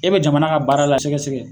E bi jamana ka baara la, a sɛgɛsɛgɛ